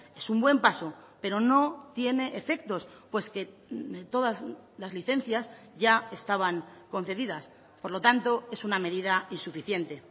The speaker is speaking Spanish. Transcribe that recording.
es un buen paso pero no tiene efectos pues que todas las licencias ya estaban concedidas por lo tanto es una medida insuficiente